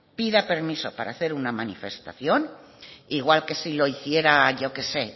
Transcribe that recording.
pida permiso para hacer una manifestación igual que si lo hiciera yo que sé